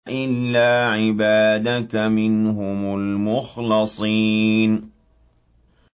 إِلَّا عِبَادَكَ مِنْهُمُ الْمُخْلَصِينَ